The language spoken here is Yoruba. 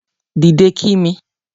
Dìde kí mi